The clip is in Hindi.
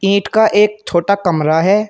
नेट का एक छोटा कमरा है।